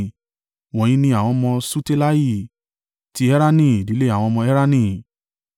Wọ̀nyí ni àwọn ọmọ Ṣutelahi: ti Erani, ìdílé àwọn ọmọ Erani.